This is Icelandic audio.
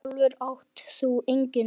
Sjálfur átt þú engin börn.